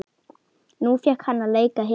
Nú fékk hann að leika hetju.